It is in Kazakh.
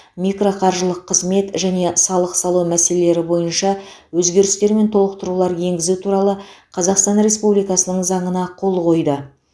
микроқаржылық қызмет және салық салу мәселелері бойынша өзгерістер мен толықтырулар енгізу туралы қазақстан республикасының заңына қол қойды